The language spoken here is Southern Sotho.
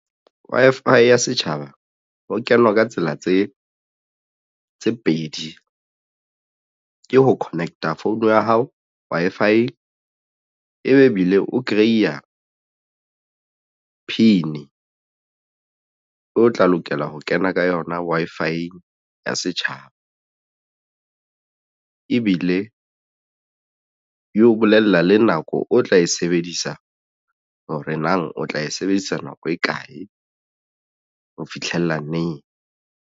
Wi-Fi ya setjhaba ho kenwa ka tsela tse pedi ke ho connect-a phone ya hao Wi-Fi-eng ebe ebile o kreiya P_I_N o tla lokela ho kena ka yona Wi-Fi-eng ya setjhaba ebile e o bolella le nako o tla e sebedisa hore nang o tla e sebedisa nako e kae ho fitlhella neng.